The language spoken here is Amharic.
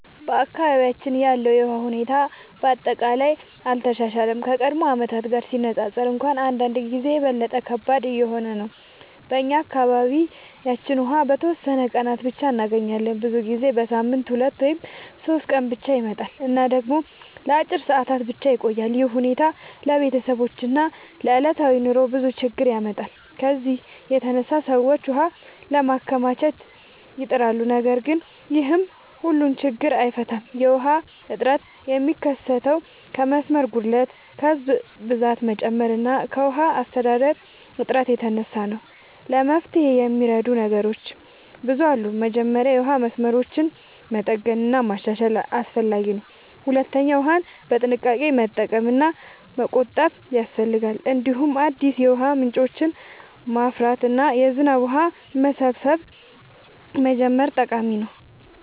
በአካባቢያችን ያለው የውሃ ሁኔታ በአጠቃላይ አልተሻሻለም፤ ከቀድሞ ዓመታት ጋር ሲነፃፀር እንኳን አንዳንድ ጊዜ የበለጠ ከባድ እየሆነ ነው። እኛ በአካባቢያችን ውሃ በተወሰኑ ቀናት ብቻ እንገኛለን፤ ብዙ ጊዜ በሳምንት 2 ወይም 3 ቀን ብቻ ይመጣል እና ደግሞ ለአጭር ሰዓታት ብቻ ይቆያል። ይህ ሁኔታ ለቤተሰቦች እና ለዕለታዊ ኑሮ ብዙ ችግኝ ያመጣል። ከዚህ የተነሳ ሰዎች ውሃ ለማከማቸት ይጥራሉ፣ ነገር ግን ይህም ሁሉን ችግኝ አይፈታም። የውሃ እጥረት የሚከሰተው ከመስመር ጉድለት፣ ከህዝብ ብዛት መጨመር እና ከውሃ አስተዳደር እጥረት የተነሳ ነው። ለመፍትሄ የሚረዱ ነገሮች ብዙ አሉ። መጀመሪያ የውሃ መስመሮችን መጠገን እና ማሻሻል አስፈላጊ ነው። ሁለተኛ ውሃን በጥንቃቄ መጠቀም እና መቆጠብ ያስፈልጋል። እንዲሁም አዲስ የውሃ ምንጮችን ማፍራት እና የዝናብ ውሃ መሰብሰብ መጀመር ጠቃሚ ነው።